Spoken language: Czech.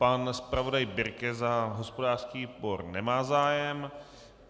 Pan zpravodaj Birke za hospodářský výbor - nemá zájem.